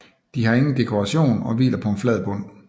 De har ingen dekoration og hviler på en flad bund